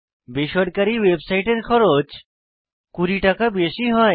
বেসরকারী ওয়েবসাইটের খরচ 20 টাকা বেশী হয়